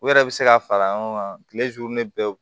U yɛrɛ bɛ se ka fara ɲɔgɔn kan kile bɛɛ